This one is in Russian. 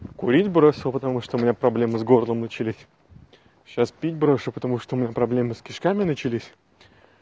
курить бросил потому что у меня проблемы с горлом начались сейчас пить брошу потому что у меня проблемы с кишками начались